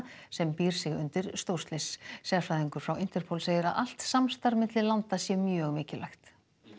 sem býr sig undir stórslys sérfræðingur frá Interpol segir að allt samstarf milli landa sé mjög mikilvægt